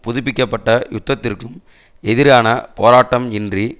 புதுப்பிக்க பட்ட யுத்தத்திற்கும் எதிரான போராட்டம் இன்றி